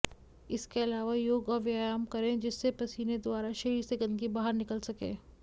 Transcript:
इसके अलावा योग और व्यायाम करें जिससे पसीने दृारा शरीर से गंदगी बाहर निकल सके